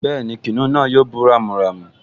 Bẹ́ẹ̀ni, kìnìún náà yóò bú ramúramù